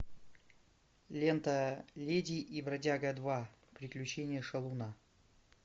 лента леди и бродяга два приключения шалуна